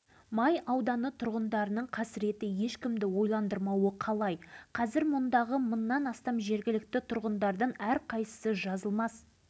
бірдей болып шықпай ма бір кездерде өздерінен бөлініп алынған бүгінде ірге түйістіріп қоңсылас отырған